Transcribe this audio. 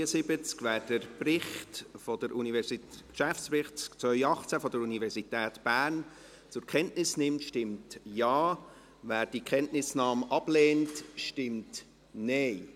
Wer den Geschäftsbericht 2018 der Universität Bern zur Kenntnis nimmt, stimmt Ja, wer diese Kenntnisnahme ablehnt, stimmt Nein.